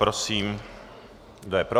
Prosím, kdo je pro?